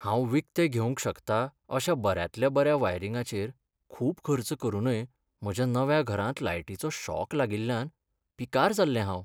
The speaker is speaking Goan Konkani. हांव विकतें घेवंक शकतां अशा बऱ्यांतल्या बऱ्या वायरिंगाचेर खूब खर्च करूनय म्हज्या नव्या घरांत लायटीचो शॉक लागिल्ल्यान पिकार जाल्लें हांव.